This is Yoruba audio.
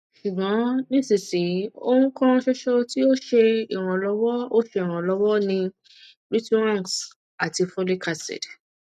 ṣugbọn nisisiyi ohun kan ṣoṣo ti o ṣe iranlọwọ o ṣe iranlọwọ ni rituxan ati folic acid